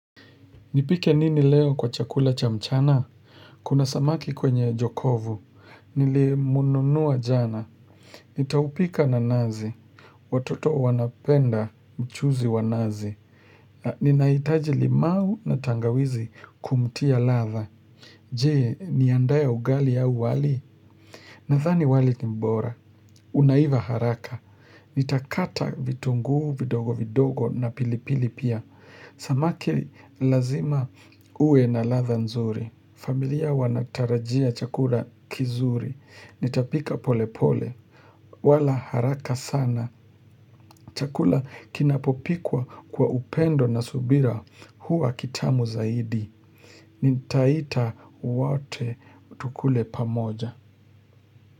Nipike nini leo kwa chakula cha mchana? Kuna samaki kwenye jokovu. Nili mununua jana. Nitaupika na nazi. Watoto wanapenda mchuzi wa nazi. Ninaitaji limau na tangawizi kumtia ladha. Je, niandae ugali au wali. Nadhani wali kimbora. Unaiva haraka. Nitakata vitunguu vidogo vidogo na pilipili pia. Samaki lazima ue na ladha nzuri. Familia wanatarajia chakula kizuri. Nitapika pole pole. Wala haraka sana. Chakula kinapopikwa kwa upendo na subira huwa kitamu zaidi. Nitaita wote tukule pamoja.